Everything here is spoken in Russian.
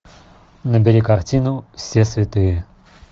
набери картину все святые